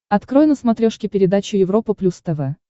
открой на смотрешке передачу европа плюс тв